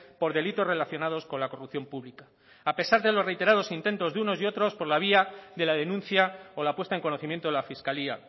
por delitos relacionados con la corrupción pública a pesar de los reiterados intentos de unos y otros por la vía de la denuncia o la puesta en conocimiento de la fiscalía